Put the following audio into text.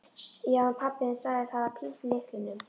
Já, en pabbi þinn sagðist hafa týnt lyklinum.